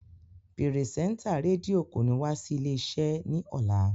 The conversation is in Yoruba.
Pirisenta redio ko ni wa si ile ile-ise ni ọla.